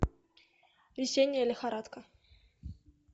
весенняя лихорадка